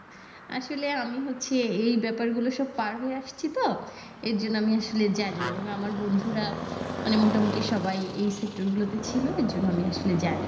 আসলে আমি হচ্ছে এই ব্যাপার গুলা সব পাড় হয়ে আসছি তো এর জন্য আমি আসলে জানি আমার বন্ধুরা মানে মোটামুটি সবাই এই sector গুলো তে ছিল এজন্য আমি আসলে জানি।